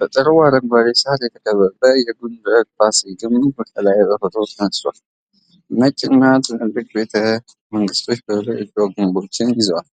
በጥሩ አረንጓዴ ሳር የተከበበ የጎንደር ፋሲል ግቢ ከላይ በፎቶ ተነስቷል። ነጭና ትላልቅ ቤተ መንግሥቶች በዙሪያቸው የድሮ ግንቦችን ይዘዋል።